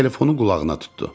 Telefonu qulağına tutdu.